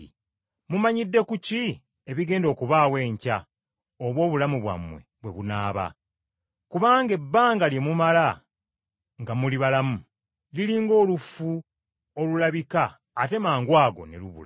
Mumanyidde ku ki ebigenda okubaawo enkya oba obulamu bwammwe bwe bunaaba? Kubanga ebbanga lye mumala nga muli balamu liri ng’olufu olulabika ate mangwago ne lubula.